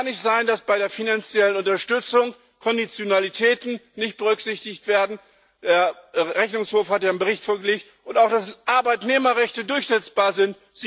Es kann nicht sein, dass bei der finanziellen Unterstützung Konditionalitäten nicht berücksichtigt werden der Rechnungshof hat ja einen Bericht vorgelegt und auch Arbeitnehmerrechte müssen durchsetzbarsein.